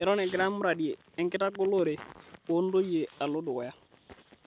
Eton egira muradi enkitagolore oo ntoyie alo dukuya